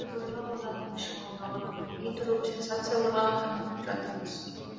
дүбірлі доданың шымылдығы түрілмей тұрып сенсацияларға қанығып жатырмыз